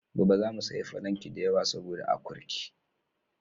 Gobe zamu sayi falanki da yawa saboda akurki.